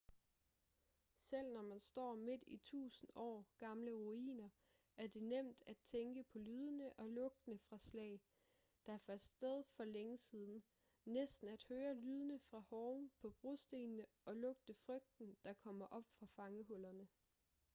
selv når man står midt i tusind år gamle ruiner er det nemt at tænke på lydene og lugtene fra slag der fandt sted for længe siden næsten at høre lydene fra hove på brostenene og lugte frygten der kommer op fra fangehullerne